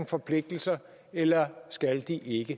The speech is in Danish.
forpligtelser eller at de ikke